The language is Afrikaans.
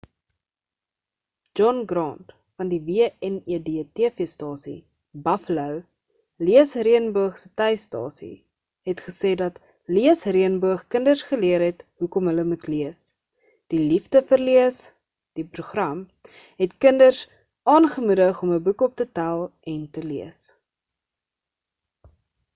john grant van die wned tv-stasie buffalo leesreënboog se tuisstasie het gesê dat leesreënboog kinders geleer het hoekom hulle moet lees, die liefde vir lees - [die program] het kinders aangemoedig om 'n boek op te tel en te lees.